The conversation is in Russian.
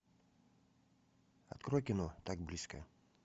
открой кино так близко